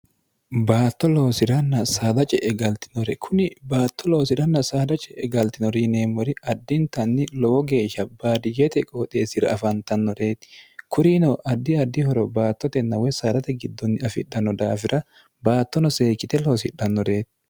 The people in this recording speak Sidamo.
baatto loosiranna saada ce'e galtinore kuni baatto loosiranna saada ce'e galtinori yineemmori addintanni lowo geeshsha baadiyyete qooxeessira afantannoreeti kurino addi addi horo baattote nawo saarate giddonni afidhanno daafira baattono seekite loosidhannoreeti